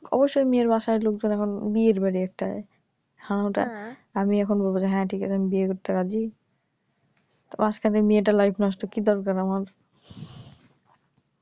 অবশ্যই ঐ মেয়ের বাসায় লোকজন এখন বিয়ের বাড়ি একটা আমি এখন বলব যে হ্যা ঠিক আছে আমি বিয়ে করতে রাজি তো মাঝখানে মেয়েটার লাইফ নষ্ট কি দরকার আমার